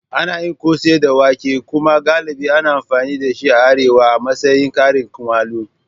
Ana yin kose da wake kuma galibi ana amfani da shi a Arewa a matsayin karin kumallo.